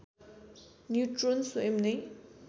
neutron स्वयं नै